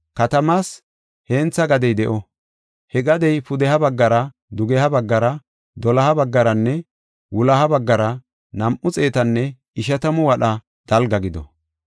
Katamaas hentha gadey de7o; he gadey pudeha baggara, dugeha baggara, doloha baggaranne wuloha baggara nam7u xeetanne ishatamu wadha dalga gido.